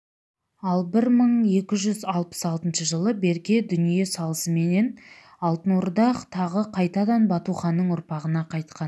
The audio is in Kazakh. ал бір мың екі жүз алпыс алтыншы жылы берке дүние салысыменен алтын орда тағы қайтадан батуханның ұрпағына қайтқан